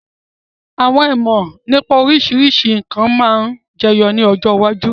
Àwọn ìmọ̀ nípa oríṣiríṣi nkan sì máa ma jẹyọ ni ọjọ́ iwájú.